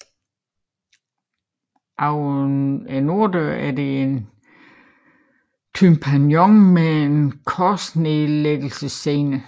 Over norddøren er der et tympanon med en korsnedtagelsesscene